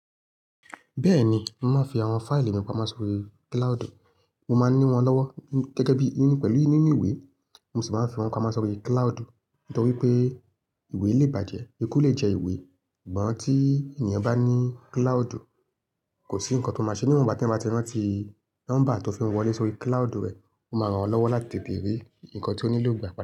Bẹ́ẹ̀ni, mo máa ń fi àwọn fáìlì mi pamọ́ sórí cloud u. Mo máa ní wọ́n lọ́wọ́ gẹ́gẹ́ bí i nínú pẹ̀lú nínú ìwé, mo sì máa ń fi wọ́n pamọ́ sórí cloudu. Nítorí pé ìwé lè bàjẹ́, eku lè jẹ ìwé, sugbọ̀n tí ènìyàn bá ní cloudù, kò sí nǹkan tó máa ṣe níwon notìgbà tí wọ́n bá ti rántí nọ́mbà tó fi wọn wọlé sórí cloud u rẹ̀, ó máa ran wọ́n lọ́wọ́ láti tètè rí ǹkan tí ó nílò gbà pada.